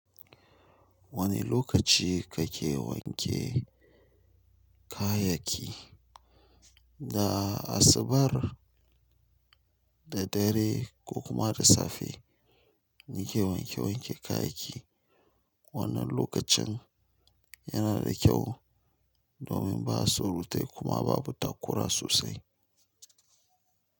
Wane lokaci kake wanke kayayyaki? Na asabar da dare ko kuma da safe nake wanke wanke kayayyaki. Wannan lokacin yana da kyau domin ba surutai kuma babu takura sossai.